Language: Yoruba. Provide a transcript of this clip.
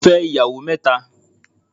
Ọkùnrin fẹ́ ìyàwó mẹ́ta